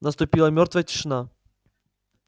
наступила мёртвая тишина